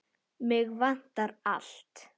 Mig vantar allt.